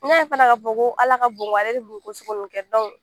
N y'a ye fana ka fɔ ko ala ka bon , ale de bi nin ko sugu nunnu kɛ